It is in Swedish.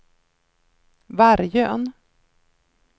Vargön